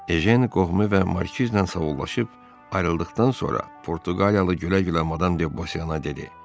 Ejen qohumu və Markizlə savollaşıb ayrıldıqdan sonra Portuqaliyalı gülə-gülə Madam Debosiyana dedi: